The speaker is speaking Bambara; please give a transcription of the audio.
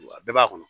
A bɛɛ b'a kɔnɔ